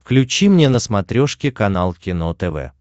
включи мне на смотрешке канал кино тв